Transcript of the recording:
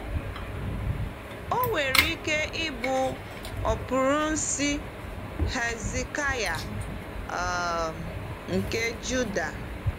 O nwere ike ịbụ ọprínsị Hezekaya um nke Juda.